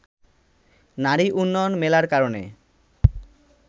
নারী উন্নয়ন মেলার কারণে